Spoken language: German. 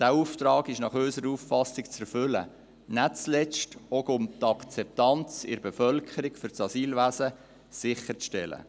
Dieser Auftrag ist nach unserer Auffassung zu erfüllen, nicht zuletzt auch, um die Akzeptanz in der Bevölkerung für das Asylwesen sicherzustellen.